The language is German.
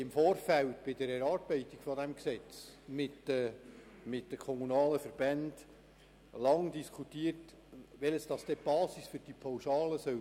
Im Vorfeld haben wir bei der Erarbeitung dieses Gesetzes mit den kommunalen Verbänden lange darüber diskutiert, welches denn die Basis für die Pauschale sein soll.